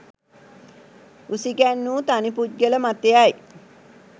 උසිගැන්වූ තනි පුද්ගල මතයයි.